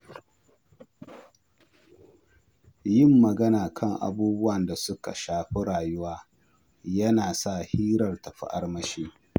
Yin magana kan abubuwan da suka shafi rayuwa yana sa hirar ta fi armashi.